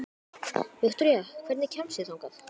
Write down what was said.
Viktoría, hvernig kemst ég þangað?